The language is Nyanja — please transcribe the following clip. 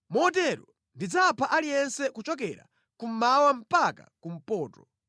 Motero ndidzapha aliyense kuchokera kummawa mpaka kumpoto.